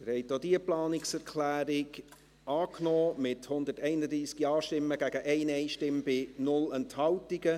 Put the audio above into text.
Sie haben auch diese Planungserklärung angenommen, mit 131 Ja-Stimmen gegen 1 Nein-Stimme bei 0 Enthaltungen.